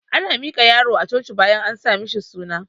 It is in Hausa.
Ana miƙa yaro a coci bayan an sa mishi suna